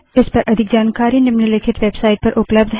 इस पर अधिक जानकारी हमारी निम्नलिखित वेबसाइट पर उपलब्ध है